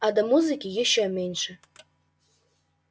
а до музыки ещё меньше